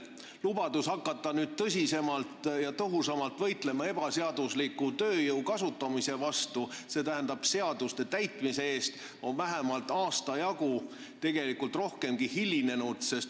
Lubadus hakata nüüd tõsisemalt ja tõhusamalt võitlema ebaseadusliku tööjõu kasutamise vastu ehk seaduste täitmise eest on hilinenud vähemalt aasta jagu, tegelikult rohkemgi.